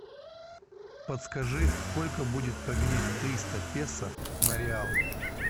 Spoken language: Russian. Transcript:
подскажи сколько будет поменять триста песо на реалы